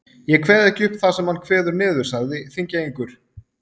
Ég kveð ekki upp það sem hann kveður niður, sagði Þingeyingur.